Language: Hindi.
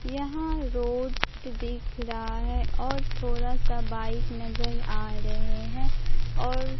यहां रोड दिख रहा है और थोड़ा सा बाइक नजर आ रहे है और--